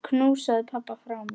Knúsaðu pabba frá mér.